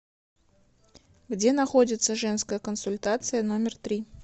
где находится женская консультация номер три